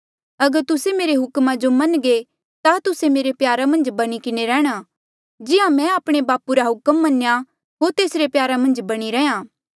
अगर तुस्से मेरे हुक्मा जो मनघे ता तुस्सा मेरे प्यारा मन्झ बणी किन्हें रैंह्णां जिहां मैं आपणे बापू रा हुक्म मन्या होर तेसरे प्यारा मन्झ बणी रैंहयां